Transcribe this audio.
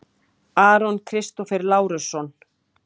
Aron Kristófer Lárusson